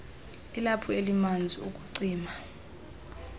ilaphu elimanzi ukucima